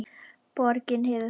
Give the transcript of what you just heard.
Borgin hefur breyst.